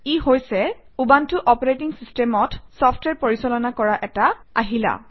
ই হৈছে Ubuntu operating চিচটেমত software পৰিচালনা কৰা এটা আহিলা